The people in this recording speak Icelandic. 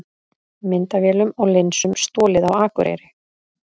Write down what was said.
Myndavélum og linsum stolið á Akureyri